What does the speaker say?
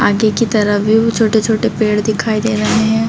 आगे की तरफ छोटे-छोटे पेड़ दिखाई दे रहे है।